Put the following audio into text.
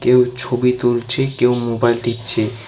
কেউ ছবি তুলছে কেউ মোবাইল টিপছে।